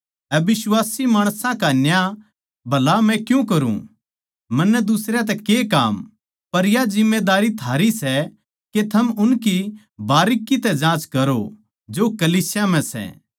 अबिश्वासी माणसां का न्याय भला मै क्यूँ करुँ मन्नै दुसरयां तै के काम पर या जिम्मेदारी थारी सै के थम उनकी बारीकी तै जाँच करो जो कलीसिया म्ह सै